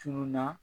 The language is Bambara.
Tuunna